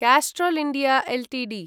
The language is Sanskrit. Castrol India Ltd